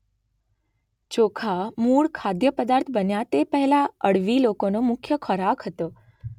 ચોખા મૂળ ખાદ્ય પદાર્થ બન્યા તે પહેલા અળવી લોકોનો મુખ્ય ખોરાક હતો